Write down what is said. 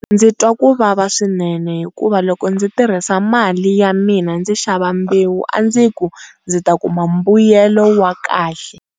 Ndzi twa ku vava swinene hikuva loko ndzi tirhisa mali ya mina ndzi xava mbewu a ndzi ku ndzi ta kuma mbuyelo wa kahle.